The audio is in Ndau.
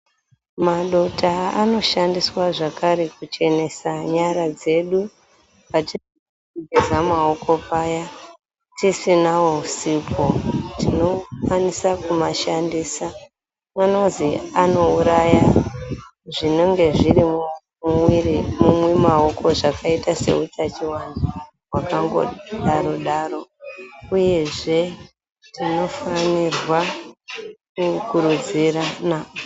Madota anoshandiswa zvakare kuchenesa nyara dzedu, patinoda kugeza maoko paya tisinawo sipho, tinokwanisa kumashandisa, kunozwi anouraya zvinenge zviri mumwiri mwemaoko, zvakaita seutachiwana hwakango daro-daro, uyezve tinofanira kukurudzirana.